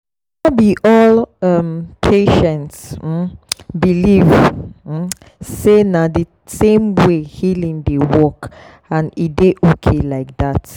no be all um patients um believe um say na the same way healing dey work and e dey okay like that.